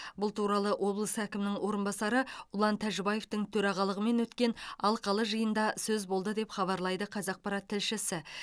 бұл туралы облыс әкімінің орынбасары ұлан тәжібаевтың төрағалығымен өткен алқалы жиында сөз болды деп хабарлайды қазақпарат тілшісі